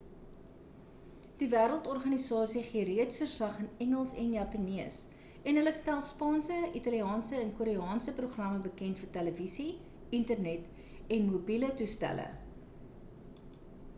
die wêreldorganisasie gee reeds verslag in engels en japannees en hulle stel spaanse italiaanse en koreaanse programme bekend vir televisie internet en mobiele toestelle